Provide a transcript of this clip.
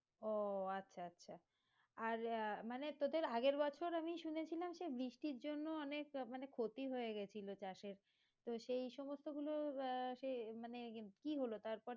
ও আচ্ছা আচ্ছা আর আহ মানে তোদের আগের বছর আমি শুনেছিলাম সে বৃষ্টির জন্য অনেক মানে ক্ষতি হয়ে গেছিলো চাষ এ তো সেই সমস্ত গুলো আহ মানে কি হলো তারপর?